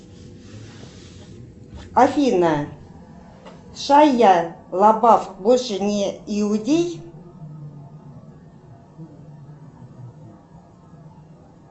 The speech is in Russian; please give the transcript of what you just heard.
афина шайя лабаф больше не иудей